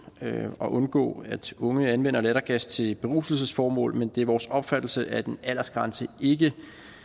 at undgå at unge anvender lattergas til beruselsesformål men det er vores opfattelse at en aldersgrænse ikke